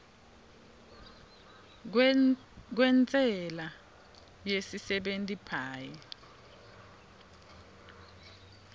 kwentsela yesisebenti paye